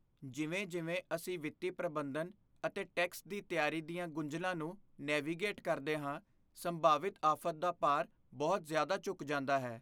ਜਿਵੇਂ ਜਿਵੇਂ ਅਸੀਂ ਵਿੱਤੀ ਪ੍ਰਬੰਧਨ ਅਤੇ ਟੈਕਸ ਦੀ ਤਿਆਰੀ ਦੀਆਂ ਗੁੰਝਲਾਂ ਨੂੰ ਨੇਵੀਗੇਟ ਕਰਦੇ ਹਾਂ, ਸੰਭਾਵਿਤ ਆਫ਼਼ਤ ਦਾ ਭਾਰ ਬਹੁਤ ਜ਼ਿਆਦਾ ਝੁਕ ਜਾਂਦਾ ਹੈ